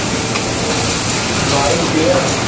Bike দিয়ে আসা?